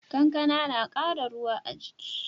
Kankana na kara ruwa a jiki